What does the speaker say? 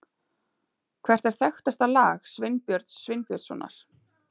Hvert er þekktasta lag Sveinbjörns Sveinbjörnssonar?